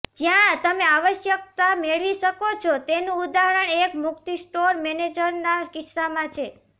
જ્યાં તમે આવશ્યકતા મેળવી શકો છો તેનું ઉદાહરણ એક મુક્તિ સ્ટોર મેનેજરના કિસ્સામાં છે